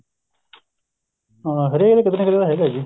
ਹਾਂ ਹਰੇਕ ਕਿਤੇ ਨਾ ਕਿਤੇ ਹੈਗਾ ਜੀ